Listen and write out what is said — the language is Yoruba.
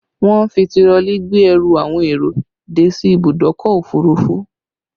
Wọn ń fi tirọlí gbé ẹrù àwọn èrò dé sí ìbùdókọ̀ òfurufú